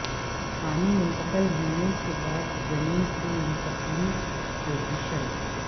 پانی منتقل ہونے کے بعد جنین کی منتقلی پوزیشن